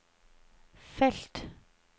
felt